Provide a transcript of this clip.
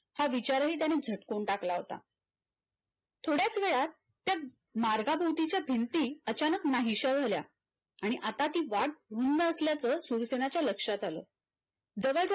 हा विचारही त्याने झटकून टाकला होता. थोड्यात वेळात त्या मार्गाभोवतीच्या भिंती अचानक नाहीशा झाल्या आणि आता ती वाट भिन्न असल्याच सुरसेनाच्या लक्षात आल. जावा